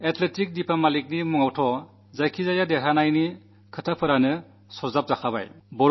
അത് ലറ്റ് ദീപാമാലിക്കാണെങ്കിൽ പലവിധ വിജയപതാകകൾ പാറിച്ചു കീർത്തി നേടിയിരിക്കുന്നു